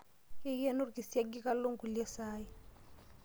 Keikeno orkisiagi kalo nkulie saai.